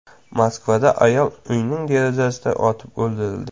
Moskvada ayol uyning derazasidan otib o‘ldirildi.